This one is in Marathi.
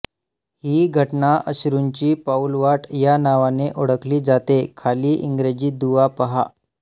ही घटना अश्रूंची पाऊलवाट या नावाने ओळखली जाते खाली इंग्रजी दुवा पहा